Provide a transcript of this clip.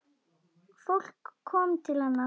Fólk kom til hennar.